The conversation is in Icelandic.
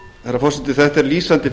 herra forseti þetta er lýsandi